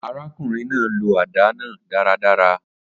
Arákùnrin náà lo àdá náà dáradára